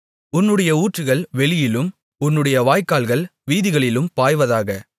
உன்னுடைய ஊற்றுகள் வெளியிலும் உன்னுடைய வாய்க்கால்கள் வீதிகளிலும் பாய்வதாக